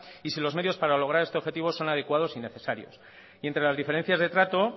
y si los medios para lograr este objetivo son adecuados y necesarios y entre las diferencias de trato